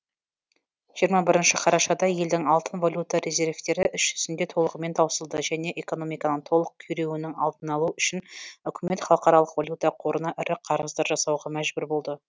жиырма бірінші қарашада елдің алтын валюта резервтері іс жүзінде толығымен таусылды және экономиканың толық күйреуінің алдын алу үшін үкімет халықаралық валюта қорына ірі қарыздар жасауға мәжбүр болды